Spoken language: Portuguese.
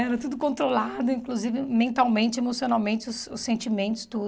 Era tudo controlado, inclusive mentalmente, emocionalmente, os os sentimentos, tudo.